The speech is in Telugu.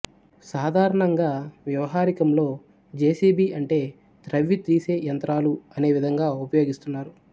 సాధారణంగా వ్యవహారికంలో జెసిబి అంటే త్రవ్వి తీసే యంత్రాలు అనే విధంగా ఉపయోగిస్తున్నారు